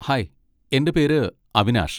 Hi, എൻ്റെ പേര് അവിനാഷ്.